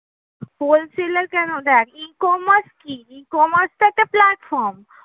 wholeseller কেন দেখ ecommerce কি? ecommerce তো একটা platform